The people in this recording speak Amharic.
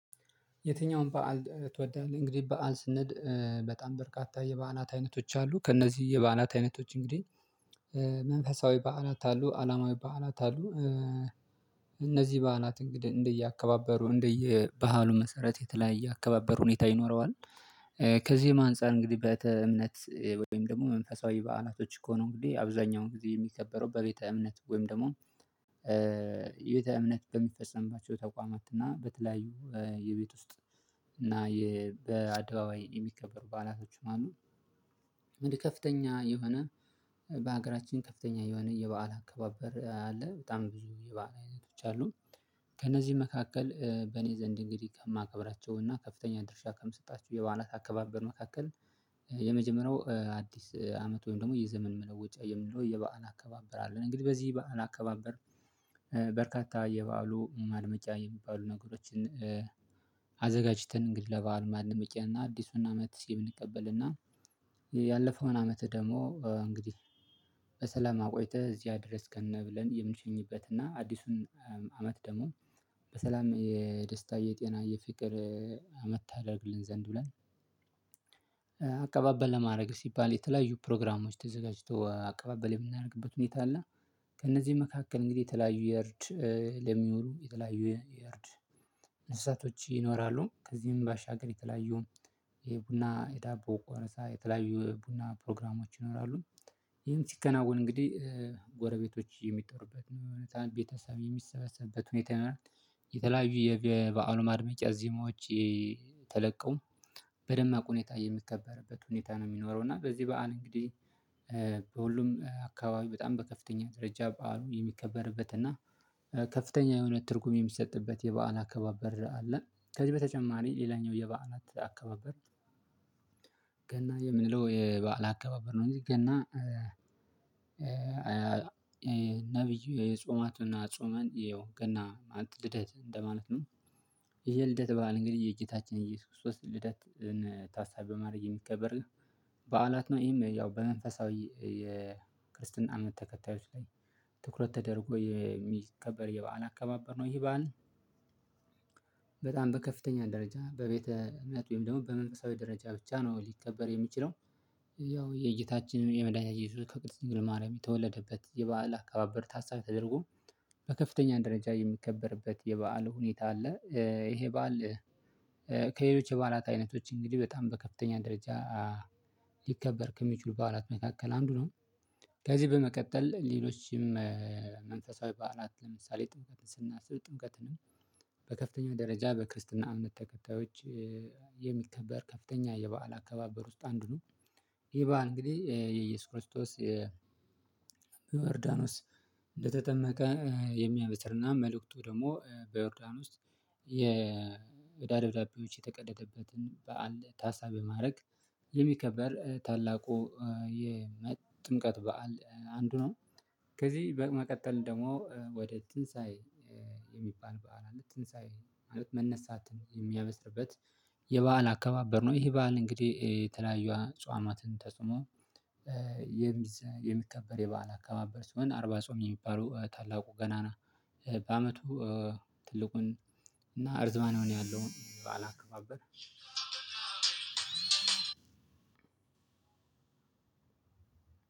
የትኛውም በዓል ትወዳለህ? እንግዲህ በዓል ስንል በጣም በርካታ የበዓላት አይነቶች አሉ ከእነዚህ የበዓላት አይነቶች እንግዲህ መንፈሳዊ በዓላት አሉ አለማዊ በዓላት አሉ። እነዚህ በዓላት እንደየአከባበሩ እንደየባህሉ መሰረት የተለያየ አከባበር ሁኔታ ይኖረዋል። ከዚህም አንፃር እንግዲህ በቤተ እምነት ወይም ደግሞ መንፈሳዊ በዓላቶች ከሆኑ እንግዲህ አብዛኛውን ጊዜ የሚከበረው በቤተ እምነት ወይም ደግሞ የቤተ እምነት በሚፈፀምባቸው ተቋማት እና በተለያዩ የቤት ውስጥ እና በአደባባይ የሚከበሩ ባላቶችም አሉ። ወደ ከፍተኛ የሆነ በሀገራችን ከፍተኛ የሆነ የበአል አከባበር አለ በጣም ብዙ የበአል አይነቶች አሉ። ከእነዚህ መካከል በእኔ ዘንድ እንግዲህ ከማከብራቸው እና ከፍተኛ ድርሻ ከምሰጣቸው የበዓላት አከባበር መካከል የመጀመሪያው አዲስ አመት ወይም ደግሞ የዘመን መለወጫ የምንለው የበአን አከባበር አለን። እንግዲህ በዚህ በዓል አከባበር በርካታ የበአሉ ማድመቂያ የሚባሉ ነገሮችን አዘጋጅተን እንግዲህ ለባህል ማንም ማድመቂያና አዲሱን አመት የምንቀበልና ያለፈውን አመት ደግሞ እንግዲህ በሰላም አቆይተህ እዚያ ያደረስከን ብለን የምንሸኝበት እና አዲሱን አመት ደግሞ በሰላም የደስታ የጤና የፍቅር አመት ታደርግልን ዘንድ ብለን ለማድረግ ሲባል የተለያዩ ፕሮግራሞች ተዘጋጅቶ አቀባበል የምናደርግበት ሁኔታ አለ። ከእነዚህ መካከል እንግዲህ የተለያዩ የእርድ ለሚኖሩ የተለያዩ የእርድ እንስሳቶች ይኖራሉ ከዚህም ባሻገር የተለያዩ የቡና የዳቦ ቆረሳ የተለያዩ ቡና ፕሮግራሞች ይኖራሉ። ይሄም ሲከናወን እንግዲህ ጎረቤቶች የሚጠሩበት ነው እውነት ቤተሰብ የሚሰበሰብበት ሁኔታ ይሆናል። የተለያዩ የበአሉ ማድመቂያ ዜማዎች ተለቀው በደማቁ ሁኔታ የሚከበርበት ሁኔታ ነው የሚኖረው እና በዚህ በዓል እንግዲህ በሁሉም አካባቢ በጣም በከፍተኛ ደረጃ በዓሉ የሚከበርበት እና ከፍተኛ የሆነ ትርጉም የሚሰጥበት የበአል አካባቢ አለ። ከዚህ በተጨማሪ ሌላኛው የበዓላት አከባበር ገና የምንለው የበአል አከባበር ነው። እንግዲህ ገና ነብዩ የጾማቱና ጾመን ይኸው ገና ልደት እንደማለት ነው። ይሄ ልደት በዓል እንግዲህ የጌታችን እየሱስ ክርስቶስ ልደት ታሳቢ በማድረግ የሚከበር በዓላት ነው። ይሄም ያው በመንፈሳዊ የክርስትና እምነት ተከታዮች ላይ ትኩረት ተደርጎ የሚከበር የበአል አከባበር ነው። ይሄ በዓል በጣም በከፍተኛ ደረጃ በቤተ ምክንያት ወይም ደግሞ በመንፈሳዊ ደረጃ ብቻ ነው ሊከበር የሚችለው ያው የጌታችን የመድኃኒያችን ከቅድስት ድንግል ማርያም የተወለደበት የበአል አካባበር ታሳቢ ተደርጎ በከፍተኛ ደረጃ የሚከበርበት የበአል ሁኔታ አለ። ይሄ በዓል ከሌሎች የበዓላት አይነቶች እንግዲህ በጣም በከፍተኛ ደረጃ ሊከበር ከሚችሉ በዓላት መካከል አንዱ ነው። ከዚህ በመቀጠል ሌሎችም መንፈሳዊ በዓላት ለምሳሌ ጥምቀትን ስናስብ ጥምቀትንም በከፍተኛው ደረጃ በክርስትና እምነት ተከታዮች የሚከበር ከፍተኛ የበአል አካባበር ውስጥ አንዱ ነው። ይህ በዓል እንግዲህ የኢየሱስ ክርስቶስ የዮርዳኖስ እንደተጠመቀ የሚያበስርና መልእክቱ ደግሞ በዮርዳን ውስጥ የደብዳቤዎች የተቀደደበትን በዓል ታሳብ ማድረግ ታላቁ ጥምቀት በዓል አንዱ ነው። ከዚህ በመቀጠል ደግሞ ወደ ትንሳኤ የሚባል በዓል አለ ትንሳኤ ማለት መነሳትን የሚያበስርበት የበአል አካባበር ነው። ይሄ በዓል እንግዲህ የተለያዩ አፁዋማትን ተፁመው የሚከበር የበዓላ አከባበር ሲሆን አርባ ጾም የሚባሉ ታላቁ ገናና በአመቱ ትልቁን እና እርዝማን ያለው በዓል አከባበር